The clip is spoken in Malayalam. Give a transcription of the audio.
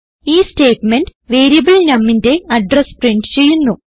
ഈ സ്റ്റേറ്റ്മെന്റ് വേരിയബിൾ numന്റെ അഡ്രസ് പ്രിന്റ് ചെയ്യുന്നു